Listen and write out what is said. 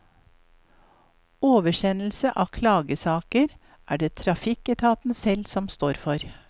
Oversendelse av klagesaker er det trafikketaten selv som står for.